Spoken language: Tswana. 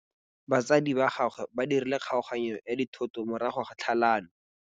Batsadi ba gagwe ba dirile kgaoganyô ya dithoto morago ga tlhalanô.